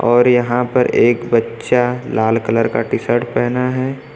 और यहां पर एक बच्चा लाल कलर का टी शर्ट पहना है।